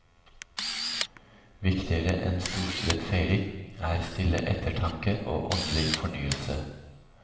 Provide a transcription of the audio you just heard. Viktigere enn storstilet feiring er stille ettertanke og åndelig fornyelse.